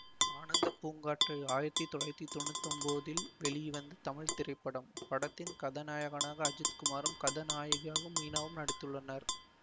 ஆனந்த பூங்காற்றே ஆயிரத்தி தொள்ளாயிரத்தி தொன்னூத்தி ஒம்போதில் வெளிவந்த தமிழ் திரைப்படம் படத்தின் கதாநாயகனாக அஜித் குமாரும் கதாநாயகியாக மீனாவும் நடித்துள்ளனர்